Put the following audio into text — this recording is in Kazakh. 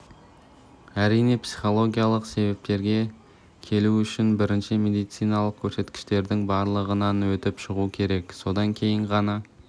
әрине психологиялық себептерге келу үшін бірінші медициналық көрсеткіштердің барлығынан өтіп шығу керек содан кейін ғана